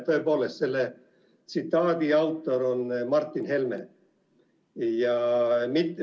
Tõepoolest, selle tsitaadi autor on Martin Helme.